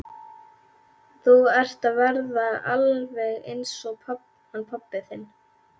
Þú ert að verða alveg eins og hann pabbi þinn.